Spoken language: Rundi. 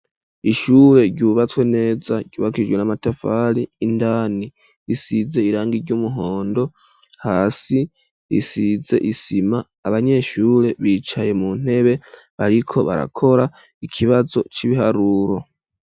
Ishure ryubatswe neza ryubakijwe n'amatafari indani risize irangi ry'umuhondo hasi risize isima abanyeshure bicaye mu ntebe ariko barakora ikibazo c'ibiharuro.